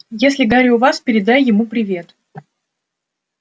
если гарри у вас передай ему привет